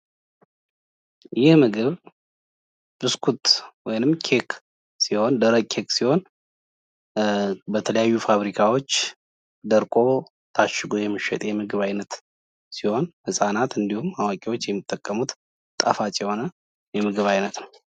ይህ ምግብ ብስኩት ወይም ደረቅ ኬክ ሲሆን በተለያዩ ፋብሪካዎች ደርቀው ታሽገው የሚሸጡ ምግቦች ናቸው። ህፃናት እንዲሁም አዋቂዎች የሚጠቀሙት ምግብ ነው ።